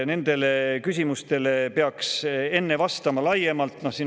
Nendele küsimustele oleks vaja enne vastata.